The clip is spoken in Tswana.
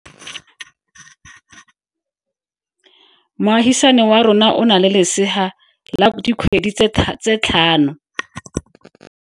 Moagisane wa rona o na le lesea la dikgwedi tse tlhano.